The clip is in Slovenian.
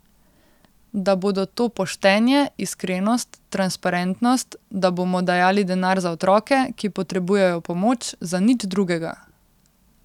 Da bodo to poštenje, iskrenost, transparentnost, da bomo dajali denar za otroke, ki potrebujejo pomoč, za nič drugega.